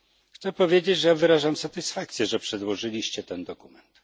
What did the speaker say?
Chcę powiedzieć, że wyrażam satysfakcję, że przedłożyliście ten dokument.